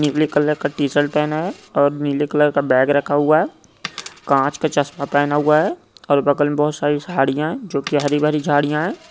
नीले कलर का टी-शर्ट पहना है और नीले कलर का बॅग रखा हुआ है कांच का चष्मा पहना हुआ है और बगल मे बहुत सारे झाडीया है जो की हरी बरी झाडीया है।